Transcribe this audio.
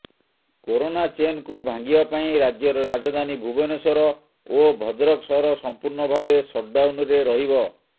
corona ଚେନକୁ ଭାଙ୍ଗିବା ପାଇଁ ରାଜ୍ୟର ରାଜଧାନୀ ଭୁବନେଶ୍ୱର ଓ ଭଦ୍ରକ ସହର ସମ୍ପୂର୍ଣ୍ଣ ଭାବେ ସଟଡାଉନରେ ରହିବ